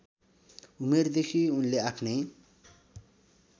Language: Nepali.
उमेरदेखि उनले आफ्नै